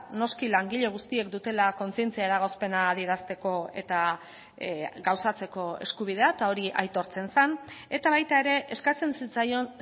noski langile guztiek dutela kontzientzia eragozpena adierazteko eta gauzatzeko eskubidea eta hori aitortzen zen eta baita ere eskatzen zitzaion